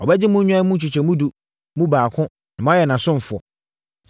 Ɔbɛgye mo nnwan mu nkyɛmu edu mu baako na moayɛ nʼasomfoɔ.